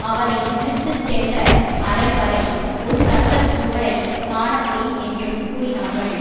அவரை இழுத்து சென்ற அறை வரை ஒரு இரத்த சுவடை காண முடியும் என்றும் கூறினார்கள்